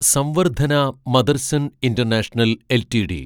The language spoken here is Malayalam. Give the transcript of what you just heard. Samvardhana Motherson international LTD